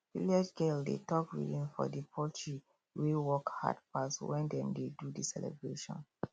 village girl dey talk rhymes for the poultry wey work hard pass when dem dey do the celebration